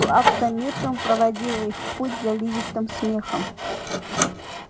плакса миртл проводила их в путь заливистым смехом